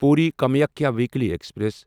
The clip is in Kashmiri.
Puri Kamakhya weekly express